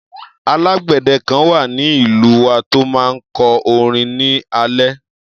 Alágbèdẹ kan wà ní ìlú wa tó máa ń kọ orin ní alẹ́.